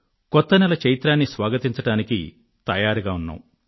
కొత్త నెల చైత్రాన్ని స్వాగతించడానికి తయారుగా ఉన్నాం